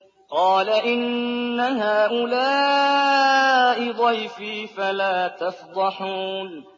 قَالَ إِنَّ هَٰؤُلَاءِ ضَيْفِي فَلَا تَفْضَحُونِ